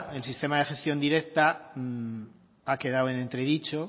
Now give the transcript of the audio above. el sistema de gestión directa ha quedado en entredicho